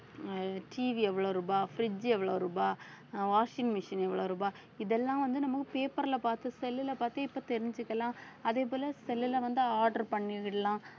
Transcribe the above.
அஹ் TV எவ்வளவு ரூபா fridge எவ்வளவு ரூபா அஹ் washing machine எவ்வளவு ரூபா இதெல்லாம் வந்து நம்ம paper ல பார்த்து cell லுல பார்த்து இப்ப தெரிஞ்சுக்கலாம் அதே போல cell லுல வந்து order பண்ணிவிடலாம்